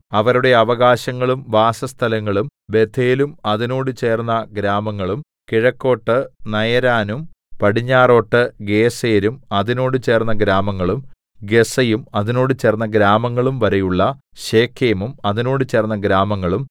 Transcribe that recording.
അവരുടെ അവകാശങ്ങളും വാസസ്ഥലങ്ങളും ബേഥേലും അതിനോട് ചേർന്ന ഗ്രാമങ്ങളും കിഴക്കോട്ട് നയരാനും പടിഞ്ഞാറോട്ട് ഗേസെരും അതിനോട് ചേർന്ന ഗ്രാമങ്ങളും ഗസ്സയും അതിനോട് ചേർന്ന ഗ്രാമങ്ങളുംവരെയുള്ള ശെഖേമും അതിനോട് ചേർന്ന ഗ്രാമങ്ങളും